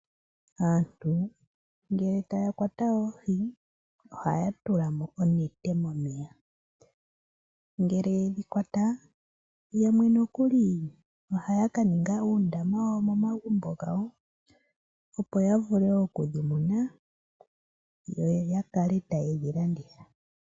Aantu ngele taya kwata oohi, ohaya tulamo onete momeya. Ngele yedhi kwata yamwe nokuli ohaya ka ninga uundama momagumbo gawo, opo ya vule okudhi muna yo ya kale taye dhi landitha.